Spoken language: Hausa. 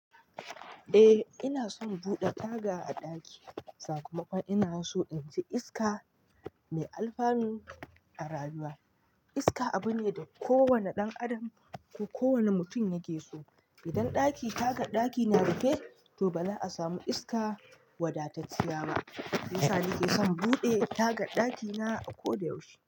Eh ina son buɗe taga a ɗaki. Sakamakon ina so in ji iska mai alfanu a rayuwa. Iska abu ne da kowane ɗan adam ko kowane mutum yake so. Idan ɗaki tagar ɗaki na rufe to ba za a samu iska wadatacciya ba. Shiyasa nake son buɗe tagar ɗakina a ko da yaushe.